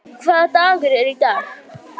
Hersir, hvaða dagur er í dag?